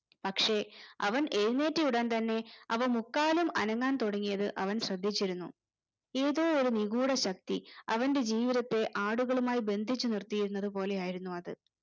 പക്ഷെ അവൻ എഴുന്നേറ്റ് വരാൻ തന്നെ അവ മുക്കാലും അനങ്ങാൻ തുടങ്ങിയത് അവൻ ശ്രദ്ധിച്ചിരുന്നു ഏതോ ഒരു നിഗൂഡ ശക്തി അവന്റെ ജീവിതത്തെ ആടുകളുമായി ബന്ധിച്ചു നിർത്തിയിരുന്നത് പോലെയായിരുന്നു അത്